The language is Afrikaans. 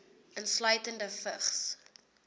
insluitende vigs